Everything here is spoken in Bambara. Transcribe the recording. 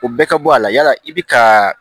O bɛɛ ka bɔ a la yala i bi kaaa